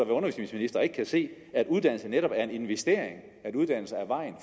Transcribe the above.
undervisningsminister og ikke kunne se at uddannelse netop er en investering at uddannelse er vejen